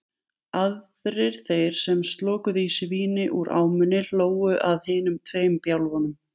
Aðrir þeir sem slokuðu í sig víni úr ámunni hlógu að hinum tveim bjálfum.